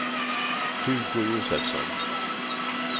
Hugo Josefsson